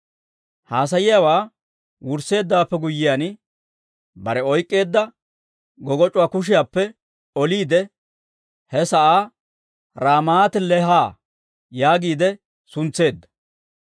Haasayiyaawaa wursseeddawaappe guyyiyaan, bare oyk'k'eedda goggoc'c'uwaa kushiyaappe oliide he sa'aa Raamaati-Leeha yaagiide suntseedda.